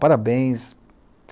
Parabéns.